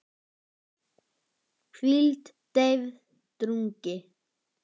hvíld, deyfð, drungi